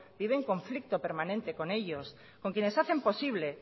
vive en conflicto permanente con ellos con quienes hacen posible